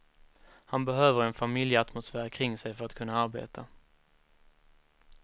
Han behöver en familjeatmosfär kring sig för att kunna arbeta.